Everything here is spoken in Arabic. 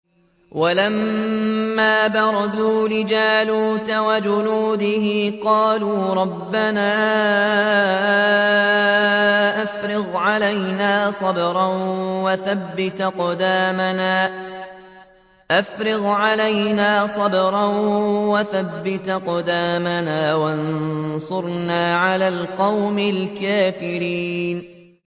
وَلَمَّا بَرَزُوا لِجَالُوتَ وَجُنُودِهِ قَالُوا رَبَّنَا أَفْرِغْ عَلَيْنَا صَبْرًا وَثَبِّتْ أَقْدَامَنَا وَانصُرْنَا عَلَى الْقَوْمِ الْكَافِرِينَ